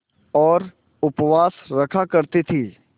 और उपवास रखा करती थीं